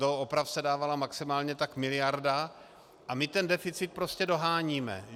Do oprav se dávala maximálně tak miliarda a my ten deficit prostě doháníme.